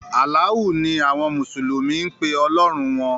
“Alaahu” ni awọn mùsùlùmí ń pe “ọlọ́hun” wọn.